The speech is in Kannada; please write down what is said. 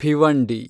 ಭಿವಂಡಿ